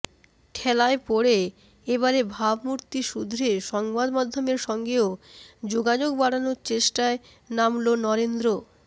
ঠেলায় পড়ে এ বারে ভাবমূর্তি শুধরে সংবাদমাধ্যমের সঙ্গেও যোগাযোগ বাড়ানোর চেষ্টায় নামল নরেন্দ্র